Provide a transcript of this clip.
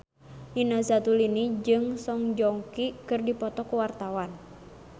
Nina Zatulini jeung Song Joong Ki keur dipoto ku wartawan